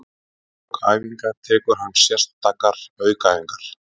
Í lok æfinga tekur hann sérstakar aukaæfingar.